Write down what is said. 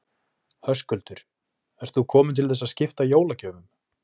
Höskuldur: Ert þú komin til þess að skipta jólagjöfum?